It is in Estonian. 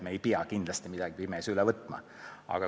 Me ei pea kindlasti midagi pimesi üle võtma.